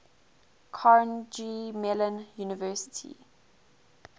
carnegie mellon university